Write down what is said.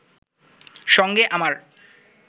সঙ্গে আমার